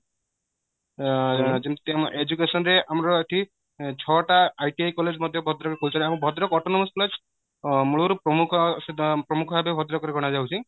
ଏ ଏ ଯେମିତି education ରେ ଆମର ଏଠି ଛଅ ଟା ITI college ମଧ୍ୟ ଭଦ୍ରକ ରେ କହୁଛନ୍ତି ଆମ ଭଦ୍ରକ autonomous college ମୂଳରୁ ପ୍ରମୁଖ ପ୍ରମୁଖ ଭାବେ ଭଦ୍ରକ ରେ ଗଣା ଯାଉଛି